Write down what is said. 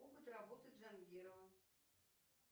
опыт работы джангирова